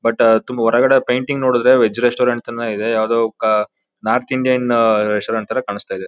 But ತುಂಬ ಹೊರಗಡೆ painting ನೋಡುದ್ರೆ ವೆಜ್ ರೆಸ್ಟೋರೆಂಟ್ ಅಂತಾನೆ ಇದೆ. ಯಾವ್ದೋ ಕಾ ನಾರ್ತ್ ಇಂಡಿಯನ್ ರೆಸ್ಟೋರೆಂಟ್ ಥರ ಕಾಣ್ಸ್ತ ಇದೆ.